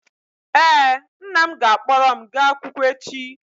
ee, nna m ga-akpọrọ m gaa akwụkwọ echi